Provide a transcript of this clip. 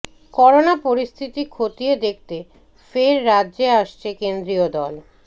corona পরিস্থিতি খতিয়ে দেখতে ফের রাজ্য়ে আসছে কেন্দ্রীয় দল